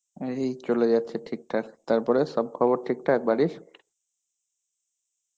এই চলে যাচ্ছ ঠিক ঠাক. তারপরে, সব খবর ঠিক ঠাক বাড়ির?